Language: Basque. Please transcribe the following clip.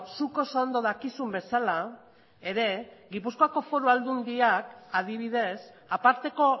zuk oso ondo dakizun bezala ere gipuzkoako foru aldundiak adibidez aparteko